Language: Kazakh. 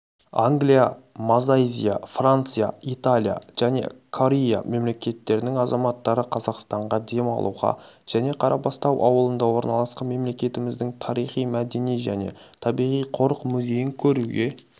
англия мазайзия франция италия және кория мемлекеттерінің азаматтары қазақстанға демалуға және қарабастау ауылында орналасқан мемлекеттіміздің тарихи-мәдени және табиғи қорық музейін көруге